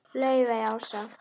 Laufey Ása.